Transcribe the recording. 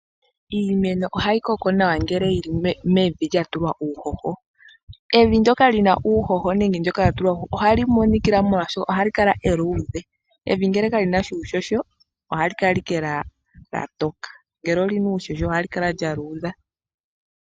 Iimeno ohayi koko nawa ngele yili mevi lyatulwa uuhoho. Evi ndyoka lina uuhoho nenge latulwa uuhoho ohali imonikila molwashoka ohali kala eludhe, evi ngele kali na uuhoho ohali kala owala etokele nongele olyina uuhoho ohali kala eludhe.